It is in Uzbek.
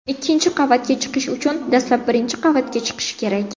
Ikkinchi qavatga chiqish uchun dastlab birinchi qavatga chiqish kerak.